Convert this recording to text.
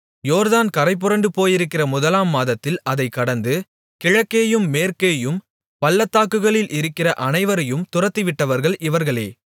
யோர்தான் கரைபுரண்டு போயிருக்கிற முதலாம் மாதத்தில் அதைக் கடந்து கிழக்கேயும் மேற்கேயும் பள்ளத்தாக்குகளில் இருக்கிற அனைவரையும் துரத்திவிட்டவர்கள் இவர்களே